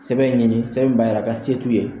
Sɛbɛn ɲini sɛbɛn min b'a yira ko se t'u ye